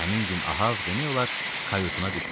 Həmin gün Ahab demək olar, kayutuna düşmədi.